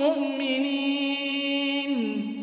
مُّؤْمِنِينَ